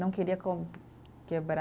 Não queria com, quebrar.